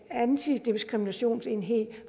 antidiskriminationsenheden